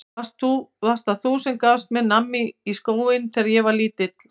Varst það þú sem gafst mér nammi í skóinn þegar ég var lítill?